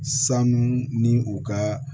Sanu ni u ka